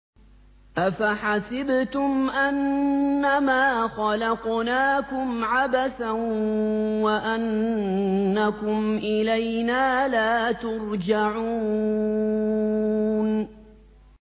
أَفَحَسِبْتُمْ أَنَّمَا خَلَقْنَاكُمْ عَبَثًا وَأَنَّكُمْ إِلَيْنَا لَا تُرْجَعُونَ